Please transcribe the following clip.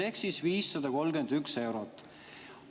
" Ehk 531 eurot.